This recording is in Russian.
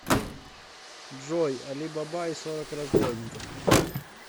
джой али баба и сорок разбойников